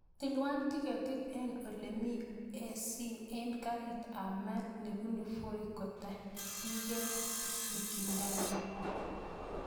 Tilwan tiketit en olemi a.c en karit ab maat nebunu voi kotakyingei mikindani